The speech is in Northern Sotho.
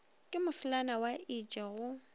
ke moselana wa itše go